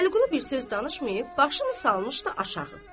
Vəliqulu bir söz danışmayıb, başını salmışdı aşağı.